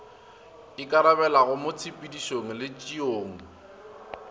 ikarabelago mo tshepedišong le tšeong